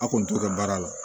A kun t'o kɛ baara la